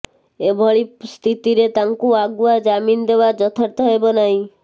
ଏଭଳି ସ୍ଥିତିରେ ତାଙ୍କୁ ଆଗୁଆ ଜାମିନ ଦେବା ଯଥାର୍ଥ ହେବ ନାହିଁ